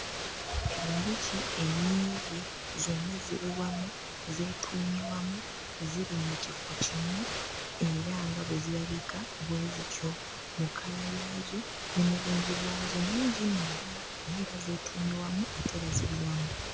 Enjuki ennyingi zonna ziri wamu, zeetuumye wamu, ziri mu kifo kimu, era nga bwe zirabika bwe zityo mu kkala yaazo ne mu bungi bwazo. Nnyingi nno ddala. Naye era zeetuumye wamu ate era ziri wamu.